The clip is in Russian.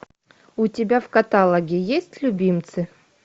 у тебя в каталоге есть любимцы